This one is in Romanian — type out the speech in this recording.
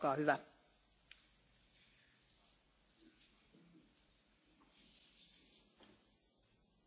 Încep prin a le a mulțumi colegilor pentru că au ridicat aceste întrebări importante în discuția cu Consiliul și Comisia.